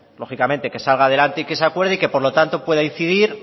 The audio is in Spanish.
lógicamente salga adelante y que se acuerde y por tanto pueda incidir